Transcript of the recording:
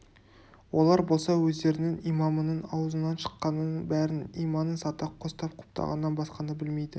олар болса өздерінің имамының аузынан шыққанының бәрін иманын сата қостап құптағаннан басқаны білмейді